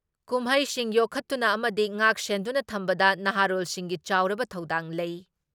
ꯀꯨꯝꯍꯩꯁꯤꯡ ꯌꯣꯛꯈꯠꯇꯨꯅ ꯑꯃꯗꯤ ꯉꯥꯛꯁꯦꯟꯗꯨꯅ ꯊꯝꯕꯗ ꯅꯍꯥꯔꯣꯜꯁꯤꯡꯒꯤ ꯆꯥꯎꯔꯕ ꯊꯧꯗꯥꯡ ꯂꯩ ꯫